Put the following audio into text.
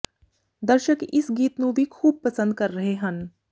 ਦਰਸ਼ਕ ਇਸ ਗੀਤ ਨੂੰ ਵੀ ਖੂਬ ਪਸੰਦ ਕਰ ਰਹੇ ਹਨ